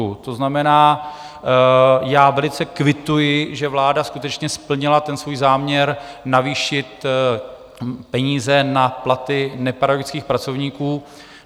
To znamená, já velice kvituji, že vláda skutečně splnila ten svůj záměr navýšit peníze na platy nepedagogických pracovníků.